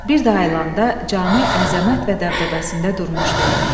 Bir də ayılannda cami əzəmət və dəbdəbəsində durmuşdu.